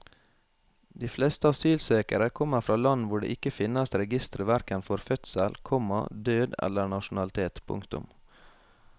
De fleste asylsøkere kommer fra land hvor det ikke finnes registre hverken for fødsel, komma død eller nasjonalitet. punktum